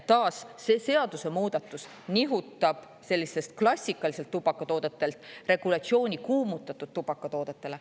Taas, see seadusemuudatus nihutab sellistelt klassikalistelt tubakatoodetelt regulatsiooni kuumutatud tubakatoodetele.